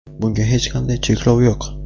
Bunga hech qanday cheklov yo‘q.